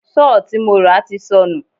Sọ́ọ̀ tí mo rà ti sọnù.